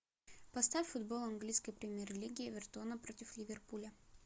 поставь футбол английской премьер лиги эвертона против ливерпуля